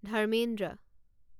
Dharmendra